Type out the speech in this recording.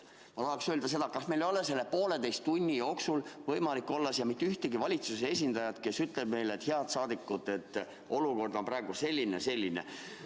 Ma tahan öelda seda, et kuidas meil ikkagi ei ole selle pooleteise tunni jooksul olnud võimalik teada saada, kas siia tuleb mõni valitsuse esindaja, kes ütleb meile: head rahvasaadikud, olukord on praegu selline ja selline.